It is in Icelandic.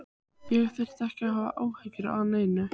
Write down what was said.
Ég þyrfti ekki að hafa áhyggjur af neinu.